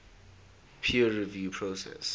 peer review process